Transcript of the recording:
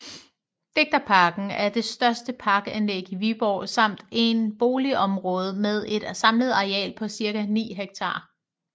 Digterparken er det største parkanlæg i Viborg samt en boligområde med et samlet areal på cirka 9 hektar